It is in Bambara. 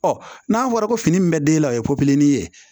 n'a fɔra ko fini min bɛ den la o ye ye